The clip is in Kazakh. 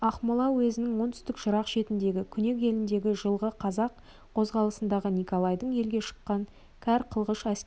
ақмола уезінің оңтүстік жырақ шетіндегі күнек еліндегі жылғы қазақ қозғалысында николайдың елге шыққан кәр қылғыш әскерінің